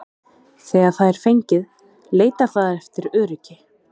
Þegar það er fengið leitar það eftir öryggi.